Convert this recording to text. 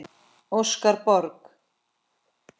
Óskar Borg.